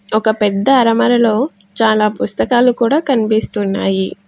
ఒక పెద్ద అరమరలో చాలా పుస్తకాలు కూడా కనిపిస్తున్నాయి.